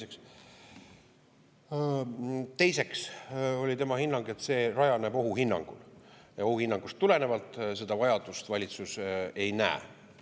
Teiseks oli tema, et see rajaneb ohuhinnangul ja ohuhinnangust tulenevalt seda vajadust valitsus ei näe.